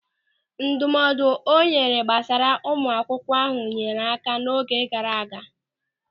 Ndụmọdụ ọ nyere gbasara ụmụ akwụkwọ ahụ nyeere áká n'oge gaara aga.